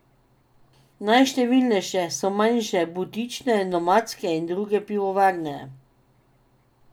Najštevilnejše so manjše butične, nomadske in druge pivovarne.